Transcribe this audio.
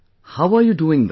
How are you doing that